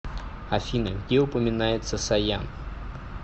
афина где упоминается саян